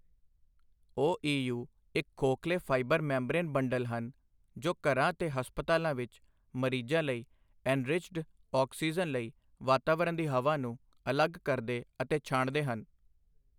ਓਈਯੂ ਇੱਕ ਖੋਖਲੇ fibre membrane bundle ਹਨ, ਜੋ ਘਰਾਂ ਤੇ ਹਸਪਤਾਲਾਂ ਵਿੱਚ ਮਰੀਜ਼ਾਂ ਲਈ ਐਨਰਿਚਡ ਆਕਸੀਜਨ ਲਈ ਵਾਤਾਵਰਣ ਦੀ ਹਵਾ ਨੂੰ ਅਲੱਗ ਕਰਦੇ ਅਤੇ ਛਾਣਦੇ ਹਨ।